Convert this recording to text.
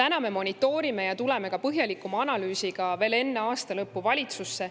Me monitoorime ja tuleme põhjalikuma analüüsiga veel enne aasta lõppu valitsusse.